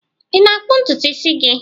Ị na-akpụ ntutu isi gị?